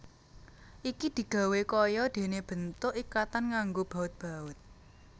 Iki digawé kaya dene bentuk ikatan nganggo baut baut